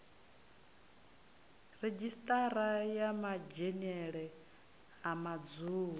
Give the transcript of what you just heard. redzhisiṱara ya madzhenele a madzulo